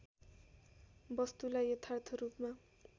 वस्तुलाई यथार्थ रूपमा